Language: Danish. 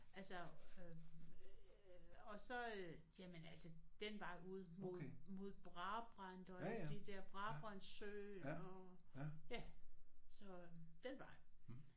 Altså øh og så øh jamen altså den vej ud mod mod Brabrand og alt de der og Brabrand Sø og ja så øh den vej